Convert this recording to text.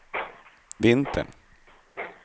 vintern